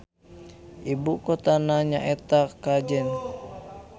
Ibukotana nyaeta Kajen.